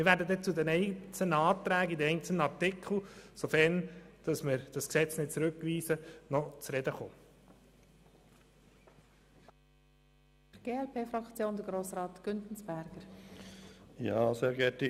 Wir werden zu den einzelnen Anträgen bei den einzelnen Artikeln noch zu sprechen kommen, sofern das Gesetz nicht zurückgewiesen wird.